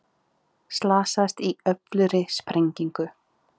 Slasaðist í öflugri sprengingu